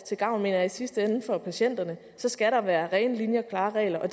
til gavn i sidste ende for patienterne skal der være rene linjer klare regler og